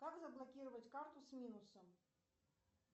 как заблокировать карту с минусом